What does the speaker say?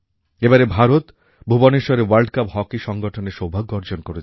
এবারে ভারত ভুবনেশ্বরে world cup hockey সংগঠনের সৌভাগ্য অর্জন করেছে